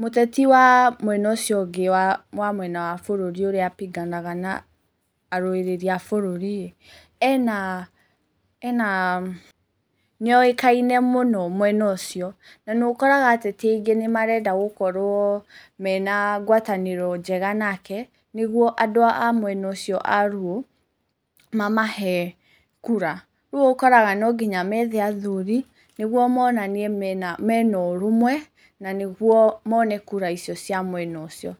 mũteti wa mwena ũcio ũngĩ wa mwena wa bũrũri ũrĩa abinganaga na arũĩrĩri a bũrũriĩ, ena, nĩoĩkaine mũno, mwena ũcio, na nĩũkoraga ateti aingĩ nĩmarenda gũkorwo mena ngwatanĩro njega nake, nĩguo andũ acio a Luo mamahe kura. Rĩu ũkoraga nonginya methe athuri, nĩguo monanie mena ũrũmwe, na nĩguo mone kura icio cia mwena ũcio.